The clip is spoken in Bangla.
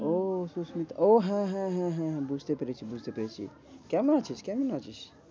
ও সুস্মিতা ও হ্যাঁ হ্যাঁ হ্যাঁ হ্যাঁ বুঝতে পেরেছি বুঝতে পেরেছি কেমন আছিস? কেমন আছিস?